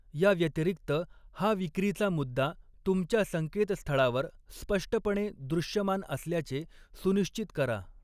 याव्यतिरिक्त, हा विक्रीचा मुद्दा तुमच्या संकेतस्थळावर स्पष्टपणे दृश्यमान असल्याचे सुनिश्चित करा.